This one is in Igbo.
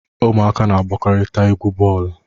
Ụmụaka na-agbakọrita egwu bọọlụ.